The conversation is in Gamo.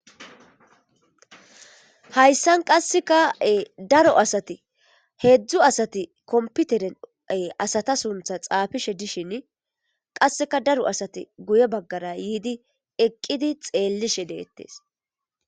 Hayssan qasseke e daaro asati heezhzhu asati kommpiteren asata sunththa xafishshe dishshin qasseka daaro assati guuye baggara yiidi eqqidi xellishe dettes.